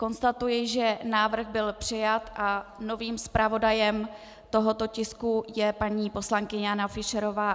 Konstatuji, že návrh byl přijat a novým zpravodajem tohoto tisku je paní poslankyně Jana Fischerová.